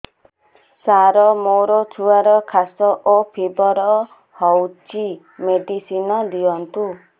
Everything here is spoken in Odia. ସାର ମୋର ଛୁଆର ଖାସ ଓ ଫିବର ହଉଚି ମେଡିସିନ ଦିଅନ୍ତୁ